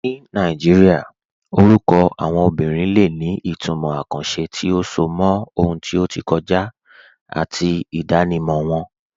Ní Nàìjíríà, orúkọ àwọn obìnrin lè ní ìtumọ̀ àkànṣe tí ó so mọ́ ohun tí ó ti kọjá àti ìdánimọ̀ wọn.